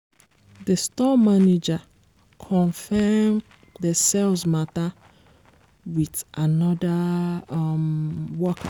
d store manager confirm the sales matter with another um worker.